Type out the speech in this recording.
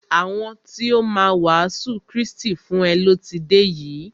Àwọn ti o má a wàásù Krístì fún e lọ ti dé yìí.